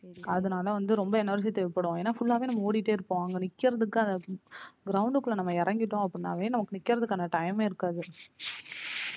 அதுனால வந்து ரொம்ப energy தேவப்படும் என்ன full லா வே நம்ம ஓடிட்டே இருப்போம் அங்க நிக்கிறதுக்கு ground குள்ள நம்ம இறங்கிட்டோம் அப்படினாவே நமக்கு நிக்கிறதுக்காண time மே இருக்காது.